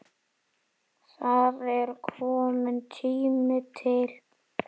Það er kominn tími til.